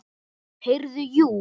Heyrðu, jú.